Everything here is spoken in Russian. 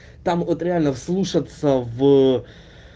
там вот реально вслушаться в